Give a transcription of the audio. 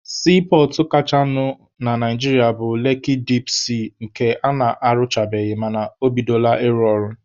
Siipọọtụ kachanụ na Naijiria bụ Leki dip sii nke ana-arụchabeghị mana o bidola ịrụ ọrụ.